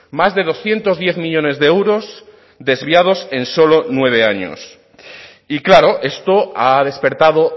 más de doscientos diez millónes de euros desviados en solo nueve años y claro esto ha despertado